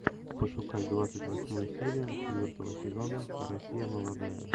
пошукай двадцать восьмую серию четвертого сезона россия молодая